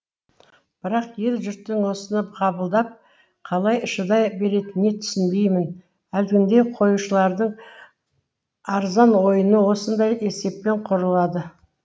бірақ ел жұрттың осыны қабылдап қалай шыдай беретініне түсінбеймін әлгіндей қоюшылардың арзан ойыны осындай есеппен құрылады